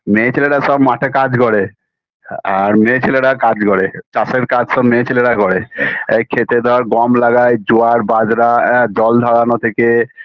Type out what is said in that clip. মেয়ে ছেলেরা সব মাঠে কাজ করে আর মেয়ে ছেলেরা কাজ করে চাষের কাজ সব মেয়ে ছেলেরা করে এ ক্ষেতে ধর গম লাগায় জোয়ার বাজরা আ জল ঝরানো থেকে